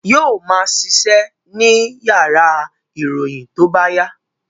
Yóò ma ṣiṣẹ́ ní yàrá ìròyìn tó bá yá